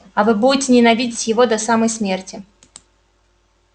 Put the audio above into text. а вы будете ненавидеть его до самой смерти